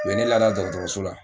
U ye ne lada dɔgɔtɔrɔso la.